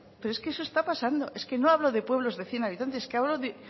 pero es que eso está pasando es que no hablo de pueblos de cien habitantes es que hablo